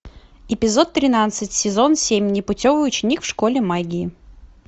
эпизод тринадцать сезон семь непутевый ученик в школе магии